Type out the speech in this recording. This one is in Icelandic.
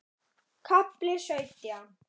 KAFLI SAUTJÁN